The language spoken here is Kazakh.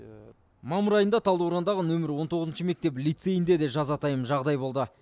мамыр айында талдықорғандағы нөмірі он тоғызыншы мектеп лицейінде де жазатайым жағдай болды